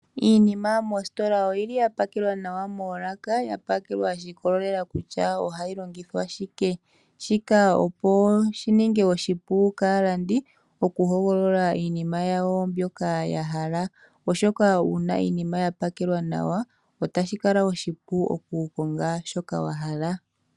Iinima moositola oyi li ya pakelwa nawa moolaka, ya pakelwa sha ikwatelela kutya ohayi longithwa shike. Shika otashi ningile aalandi oshipu opo ya vule oku hogolola shoka ya hala, ohoka uuna iinima ya pakelwa nawa, otashi kala oshipu oku konga shoka wa hala.